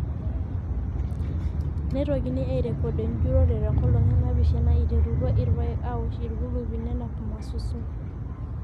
Neitokini aairrekod enjurrore tenkolong enaapishana eiterutwa irpaek aawosh irkulupi nenap mmasusun.